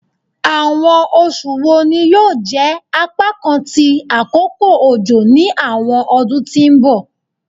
Awọn oṣu wo ni yoo jẹ apakan ti akoko ojo ni awọn ọdun ti n bọ?